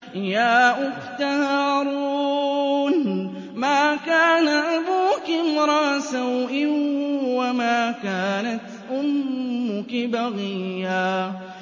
يَا أُخْتَ هَارُونَ مَا كَانَ أَبُوكِ امْرَأَ سَوْءٍ وَمَا كَانَتْ أُمُّكِ بَغِيًّا